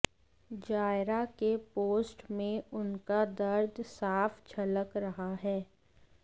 जायरा के पोस्ट में उनका दर्द साफ झलक रहा है